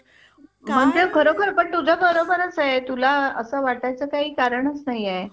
खरोखर पण तुझं बरोबरच आहे तुला असं वाटायचं काही कारणच नाहीये